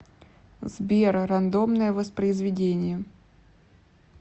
сбер рандомное воспроизведение